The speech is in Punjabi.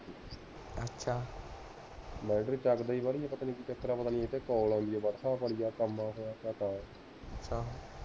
ਬੈਟਰੀ ਚੱਕਦਾ ਈ ਬਾਲੀ ਏ